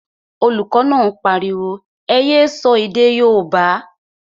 Olùkọ́ náà pariwo, ẹ yé sọ èdè yóòbá!